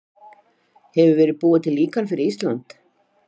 Hefur verið búið til líkan fyrir Ísland?